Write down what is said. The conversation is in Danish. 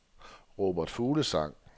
Robert Fuglsang